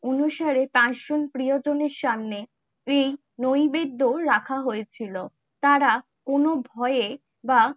অনুসারে পাঁচ জন প্রিয়জনের সামনে এই নৈবিদ্দ্ব রাখা হয়েছিল তারা কোনো ভয় বা